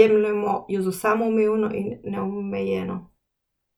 jemljemo jo za samoumevno in neomejeno.